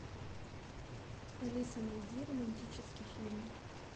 алиса найди романтический фильм